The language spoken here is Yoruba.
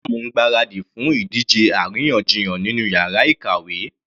Maryam ń gbáradì fún ìdíje àríyànjiyàn nínú yàrá ìkàwé.